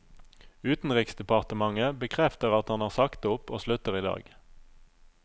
Utenriksdepartementet bekrefter at han har sagt opp og slutter i dag.